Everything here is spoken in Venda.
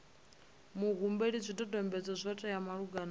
muhumbeli zwidodombedzwa zwo teaho malugana